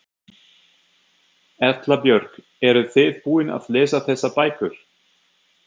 Erla Björg: Eruð þið búin að lesa þessar bækur?